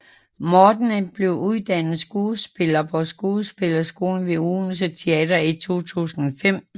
Morten blev uddannet skuespiller på Skuespillerskolen ved Odense Teater i 2005